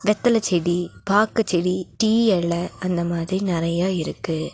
வெத்தல செடி பாக்குச்செடி டீ எல அந்த மாதிரி நறையா இருக்கு.